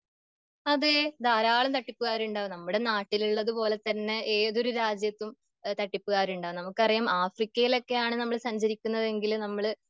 അതെ, ധരാളം തട്ടിപ്പ്ക്കാരുണ്ട് നമ്മുടെ നാട്ടിലുള്ളത് പോലെ തന്നെ ഏതൊരു രാജ്യത്തും തട്ടിപ്പിക്കാരുണ്ട്, നമുക്കറിയാം ആഫ്രിക്കയിലൊക്കെ ആണ് നമ്മൾ സഞ്ചരിക്കുന്നതെങ്കില് നമ്മള്